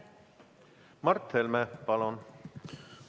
Mart Helme, palun!